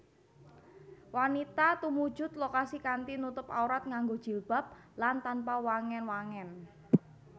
Wanita tumuju lokasi kanthi nutup aurat nganggo jilbab lan tanpa wangèn wangèn